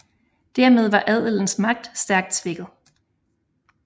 Dermed var adelens magt stærkt svækket